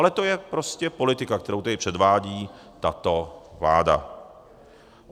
Ale to je prostě politika, kterou tady předvádí tato vláda.